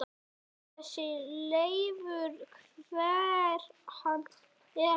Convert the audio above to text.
Þessi Leifur. hver er hann?